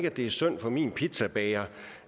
at det er synd for min pizzabager